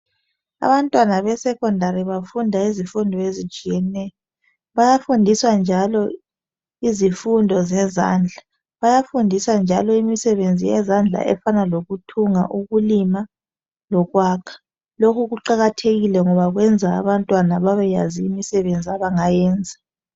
Abantwana be secondary bafunda izifundo ezitshiyeneyo, bayafundiswa njalo izifundo zezandla. Bayafundiswa njalo imisebenzi yezandla efana lokuthunga, ukulima lokwakha. Lokhu kuqakathekile ngoba kwenza abantwana babeyazi imisebenzi abangayenza